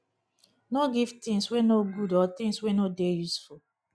no give things wey no good or things wey no dey useful